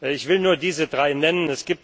Ich will nur diese drei nennen.